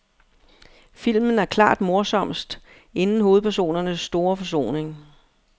Filmen er klart morsomst, inden hovedpersonernes store forsoning.